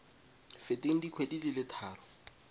feteng dikgwedi di le tharo